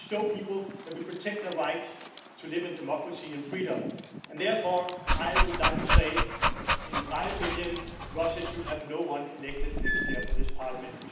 We need to show people that we protect their right to live in democracy and freedom and, therefore, in my opinion, Russia should have no one elected next year for this Parliament.